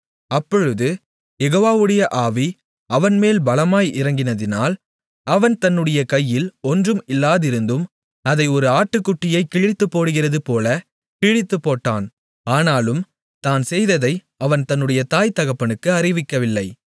அப்பொழுது யெகோவாவுடைய ஆவி அவன்மேல் பலமாய் இறங்கினதினால் அவன் தன்னுடைய கையில் ஒன்றும் இல்லாதிருந்தும் அதை ஒரு ஆட்டுக்குட்டியைக் கிழித்துப்போடுகிறதுபோல் கிழித்துப்போட்டான் ஆனாலும் தான் செய்ததை அவன் தன்னுடைய தாய் தகப்பனுக்கு அறிவிக்கவில்லை